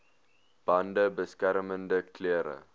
bande beskermende klere